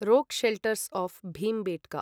रोक् shelters of Bhimbetka